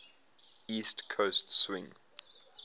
east coast swing